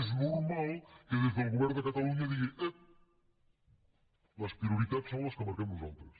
és normal que des del govern de catalunya es digui ep les prioritats són les que marquem nosaltres